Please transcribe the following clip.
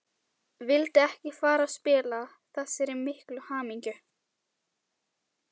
Vildi ekki fara að spilla þessari miklu hamingju.